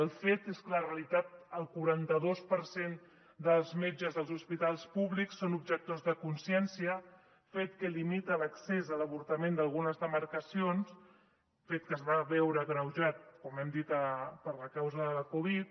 el fet és que a la realitat el quaranta·dos per cent dels metges dels hospitals públics són objectors de consciència fet que limita l’accés a l’avorta·ment d’algunes demarcacions fet que es va veure agreujat com hem dit per causa de la covid